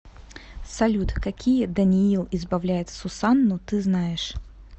салют какие даниил избавляет сусанну ты знаешь